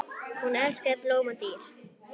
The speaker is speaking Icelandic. Hún elskaði blóm og dýr.